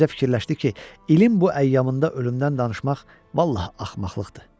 Mirzə fikirləşdi ki, ilin bu əyyamında ölümdən danışmaq vallah axmaqlıqdır.